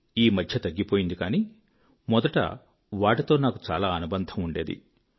ఈ మధ్య తగ్గిపోయింది కానీ మొదట వాటితో నాకు చాలా అనుబంధం ఉండేది